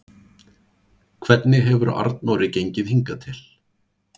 Hvernig hefur Arnóri gengið hingað til?